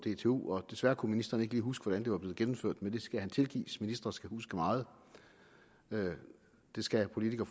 dtu desværre kunne ministeren ikke lige huske hvordan det var blevet gennemført men det skal han tilgives ministre skal huske meget det skal politikere